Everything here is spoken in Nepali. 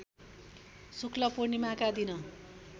शुक्ल पूणिर्माका दिन